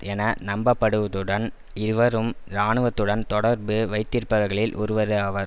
என நம்பப்படுவதுடன் இவரும் இராணுவத்துடன் தொடர்பு வைத்திருப்பவர்களில் ஒருவராவார்